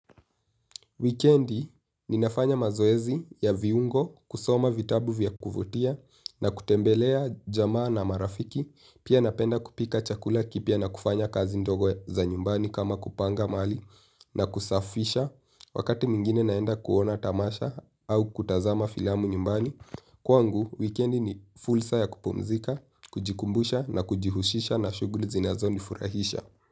Wikendi ni nafanya mazoezi ya viungo kusoma vitabu vya kuvutia na kutembelea jamaa na marafiki. Pia napenda kupika chakula kipya na kufanya kazi ndogo za nyumbani kama kupanga mali na kusafisha. Wakati mwingine naenda kuona tamasha au kutazama filamu nyumbani. Kwangu, wikendi ni fulsa ya kupumzika, kujikumbusha na kujihushisha na shuguli zinazo nifurahisha.